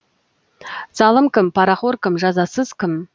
залым кім парақор кім жазасыз кім